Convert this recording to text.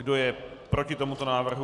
Kdo je proti tomuto návrhu?